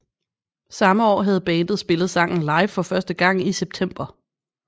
Samme år havde bandet spillet sangen live for første gang i september